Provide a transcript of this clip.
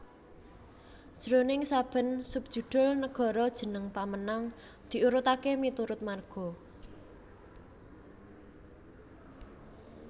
Jroning saben subjudhul nagara jeneng pamenang diurutaké miturut marga